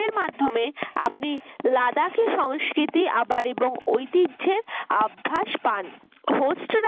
মাধ্যমে আপনি লাদাকে সংস্কৃতি আবার এবং ঐতিহ্যের আভাস পান homestay র মাধ্যমে